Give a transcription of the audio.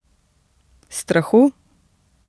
Strahu?